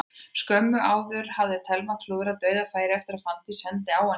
Skömmu áður hafði Telma klúðrað dauðafæri eftir að Fanndís sendi hana í gegn.